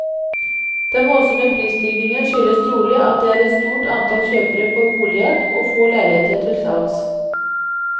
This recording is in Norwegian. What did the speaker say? Den voldsomme prisstigningen skyldes trolig at det er et stort antall kjøpere på boligjakt og få leiligheter til salgs.